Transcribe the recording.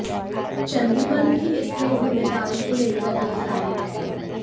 चंदीमल भी इस नयी जिम्मेदारी को लेकर उत्साहित हैं